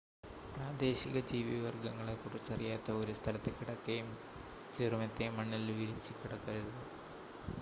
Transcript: പ്രാദേശിക ജീവിവർഗ്ഗങ്ങളെ കുറിച്ചറിയാത്ത ഒരു സ്ഥലത്ത് കിടക്കയും ചെറുമെത്തയും മണ്ണിൽ വിരിച്ചു കിടക്കരുത്